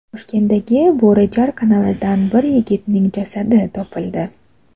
Toshkentdagi Bo‘rijar kanalidan bir yigitning jasadi topildi.